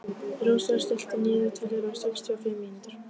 Rósar, stilltu niðurteljara á sextíu og fimm mínútur.